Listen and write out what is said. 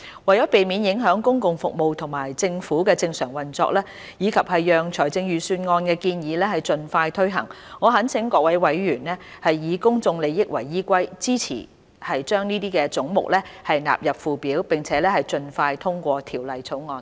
為免影響公共服務及政府的正常運作，以及讓財政預算案的建議盡快推行，我懇請各位委員以公眾利益為依歸，支持將這些總目納入附表，並盡快通過《條例草案》。